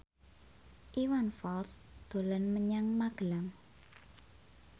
Iwan Fals dolan menyang Magelang